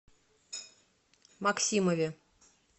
максимове